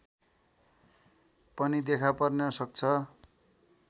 पनि देखापर्न सक्छ